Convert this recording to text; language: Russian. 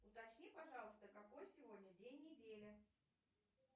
уточни пожалуйста какой сегодня день недели